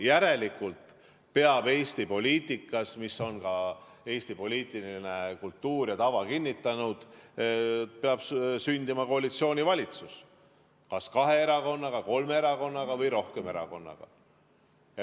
Järelikult peab Eesti poliitikas, mida on ka Eesti poliitiline kultuur ja tava kinnitanud, sündima koalitsioonivalitsus kas kahe, kolme või rohkema erakonnaga.